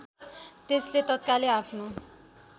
त्यसले तत्कालै आफ्नो